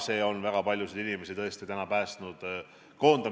See on väga paljusid inimesi tõesti koondamisest päästnud.